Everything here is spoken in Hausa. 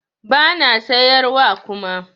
Bana siyar wa kuma